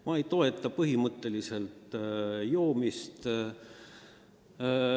Ma ei toeta põhimõtteliselt joomist.